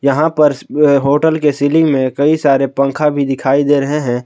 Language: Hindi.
यहां पर अ होटल के सीलिंग में कई सारे पंखा भी दिखाई दे रहे हैं।